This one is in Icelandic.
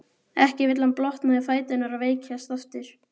Ekki vill hann blotna í fæturna og veikjast aftur.